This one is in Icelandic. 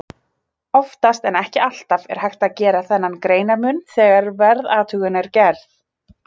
Oftast, en ekki alltaf, er hægt að gera þennan greinarmun þegar veðurathugun er gerð.